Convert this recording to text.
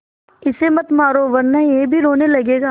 इसे मत मारो वरना यह भी रोने लगेगा